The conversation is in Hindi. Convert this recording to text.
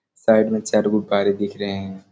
साइड में चार गो गाड़ी दिख रहें है।